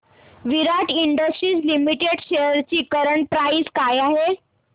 विराट industries limited shares ची current price काय आहे